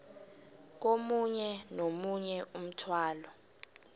komunye nomunye umthwalo